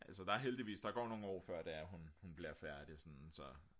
altså der er heldigvis der går nogle år før det er hun bliver færdig sådan så